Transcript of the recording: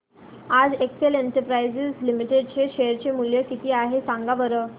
आज Excel Industries Limited चे share चे मूल्य किती आहे सांगा बरं